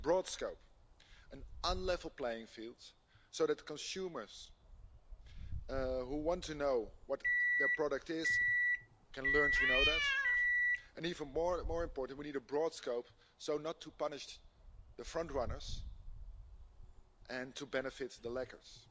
We need a broad scope, an unlevel playing field, so that consumers who want to know what their product is, can learn to know that, and even more important, we need a broad scope so as not to punish the front runners and to benefit the slackers.